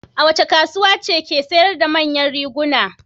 Wace kasuwa ce ke sayar da manyan riguna?